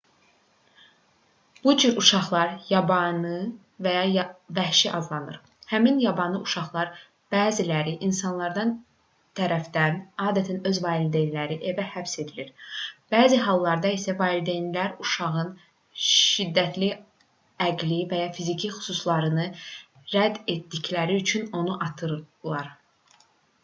bu cür uşaqlar yabanı və ya vəhşi adlanır. həmin yabanı uşaqların bəziləri insanlar tərəfindən adətən öz valideynləri evə həbs edilir bəzi hallarda isə valideynləri uşağın şiddətli əqli və ya fiziki qüsurlarını rədd etdikləri üçün onu atırlar